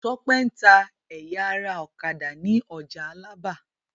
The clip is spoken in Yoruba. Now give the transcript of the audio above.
Tọ́pẹ́ ń ta ẹ̀ya ara ọ̀kadà ní ọjà Alábà.